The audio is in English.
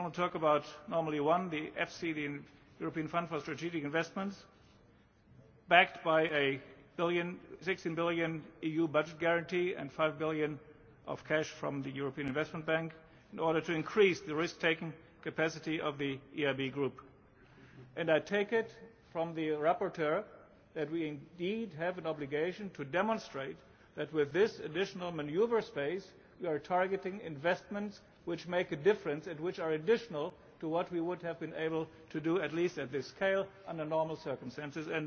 We only talk about one normally the EFSI, the European Fund for Strategic Investments backed by a EUR 16 billion EU budget guarantee and EUR 5 billion of cash from the European Investment Bank in order to increase the risk taking capacity of the EIB Group. I take it from the rapporteur that we do indeed have an obligation to demonstrate that, with this additional manoeuvre space, we are targeting investments which make a difference and which are additional to what we would have been able to do, at least on this scale, under normal circumstances.